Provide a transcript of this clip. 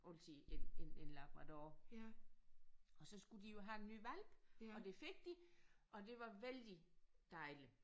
Altid en en en labrador og så skulle de jo have en ny hvalp og det fik de og det var vældig dejligt